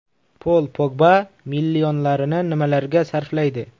Pol Pogba millionlarini nimalarga sarflaydi?